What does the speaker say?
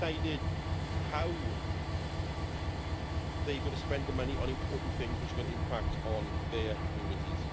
They have decided how they are going to spend the money on important things, which are going to impact on their communities.